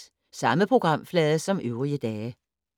Samme programflade som øvrige dage